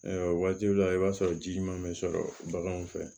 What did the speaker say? waatiw la i b'a sɔrɔ ji ɲuman bɛ sɔrɔ baganw fɛ